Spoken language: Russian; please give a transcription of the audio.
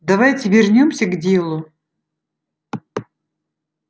давайте вернёмся к делу